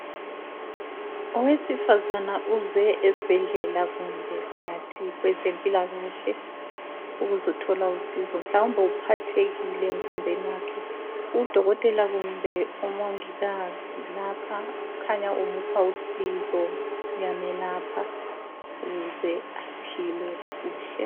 Owesifazana uze esibhedlela kumbe singathi kwezempilakahle ukuzothola usizo, mhlawumbe uphathekile emzimbeni wakhe. Udokotela kumbe umongikazi lapha ukhanya umupha usizo, uyamelapha ukuze aphile kuhle.